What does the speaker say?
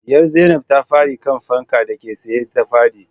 Diyar zainab ta fada kan fankar dake tsaye ta fadi